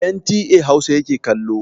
NTA Hausa yake kallo.